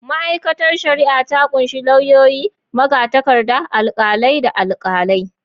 Ma’aikatar shari’a ta kunshi lauyoyi, magatakarda, alkalai, da alkalai.